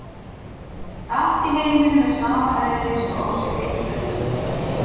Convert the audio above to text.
Allt í heiminum er sama eðlis og á sér einn grundvöll.